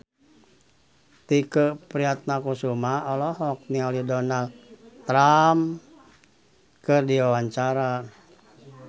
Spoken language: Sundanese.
Tike Priatnakusuma olohok ningali Donald Trump keur diwawancara